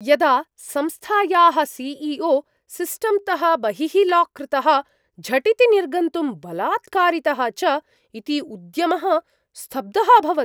यदा संस्थायाः C E O सिस्टम्तः बहिः लाक् कृतः, झटिति निर्गन्तुं बलात्कारितः च इति उद्यमः स्तब्धः अभवत्।